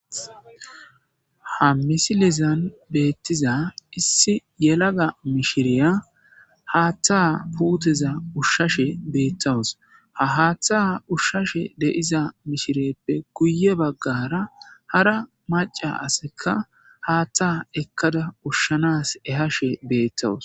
Ha misilizan beettiza issi yelaga mishiriya haattha puuteza ushshashe beettawus ha haaththa ushshashe de'iza mishireppe guye baggara hara maca aseka haattha ekkada ushshanas ehashe beettawus.